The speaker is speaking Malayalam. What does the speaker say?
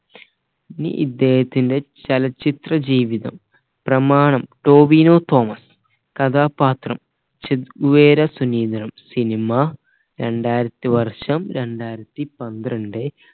ഇനി ഇദ്ദേഹത്തിന്റെ ചലച്ചിത്ര ജീവിതം പ്രമാണം ടോവിനോ തോമസ് കഥാപാത്രം ചെഗ്വേര സുനീന്ത്രം cinema രണ്ടായിരത്തി വർഷം രണ്ടായിരത്തി പന്ത്രണ്ടേ